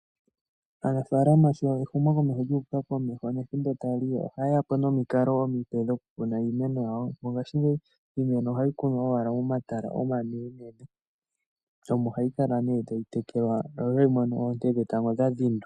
mongashingeyi iimeno oha yi kunwa owala momatala omanenene, omo hayi kala ta yi tekelwa yo otayi mono oonte dhetango dha dhindwa.